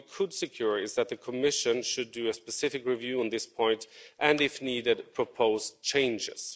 What we could secure is that the Commission should do a specific review on this point and if needed propose changes.